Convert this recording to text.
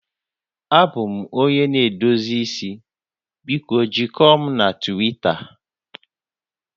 Abụ m onye na-edozi isi, biko jikọọ m na Twita